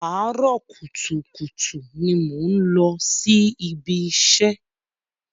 Àárọ̀ kùtùkùtù ni mò ń lọ sí ibi iṣẹ́.